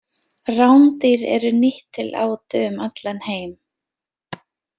Rándýr eru nýtt til átu um allan heim.